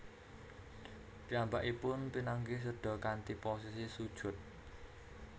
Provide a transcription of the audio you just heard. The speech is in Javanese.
Piyambakipun pinanggih seda kanthi posisi sujud